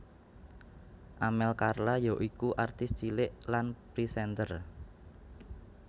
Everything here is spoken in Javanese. Amel Carla yaiku artis cilik lan présènter